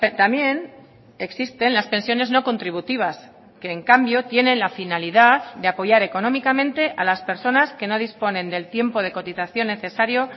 también existen las pensiones no contributivas que en cambio tienen la finalidad de apoyar económicamente a las personas que no disponen del tiempo de cotización necesario